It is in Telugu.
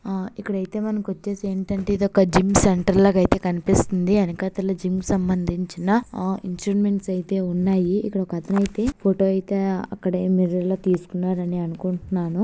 ఆ ఇక్కడైటే మనకొచేసి ఏంటంటే ఇదొక జిమ్ సెంటర్ లాగా అయితే కనిపిస్తుంది. వెనకాతల జిమ్ కి సంబంధించిన ఆ ఇన్స్ట్రుమెంట్స్ అయితే ఉన్నాయి.ఎక్కడొక్కతనైతే అయితే ఫోటో అయితే అక్కడే మిర్రర్ లో తీసుకున్నారని అనుకుంటున్నాను.